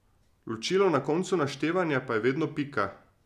Ločilo na koncu naštevanja pa je vedno pika.